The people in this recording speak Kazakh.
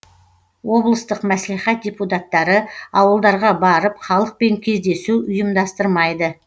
облыстық мәслихат депутаттары ауылдарға барып халықпен кездесу ұйымдастырмайды